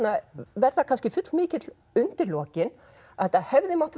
verða kannski full mikill undir lokin að þetta hefði mátt